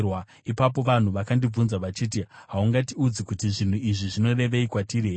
Ipapo vanhu vakandibvunza vachiti, “Haungatiudzi kuti zvinhu izvi zvinorevei kwatiri here?”